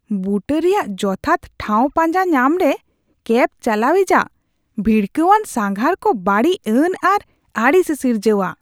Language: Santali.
ᱵᱩᱴᱟᱹ ᱨᱮᱭᱟᱜ ᱡᱚᱛᱷᱟᱛ ᱴᱷᱟᱶ ᱯᱟᱸᱡᱟ ᱧᱟᱢ ᱨᱮ ᱠᱮᱹᱵ ᱪᱟᱞᱟᱣᱤᱡᱟᱜ ᱵᱷᱤᱲᱠᱟᱹᱣᱟᱱ ᱥᱟᱸᱜᱷᱟᱨ ᱠᱚ ᱵᱟᱹᱲᱤᱡᱽᱼᱟᱱ ᱟᱨ ᱟᱹᱲᱤᱥᱮ ᱥᱤᱨᱡᱟᱹᱣᱟ ᱾